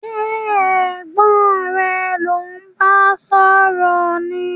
Sé ẹgbẹ́ rẹ lò n ba sòrò ni?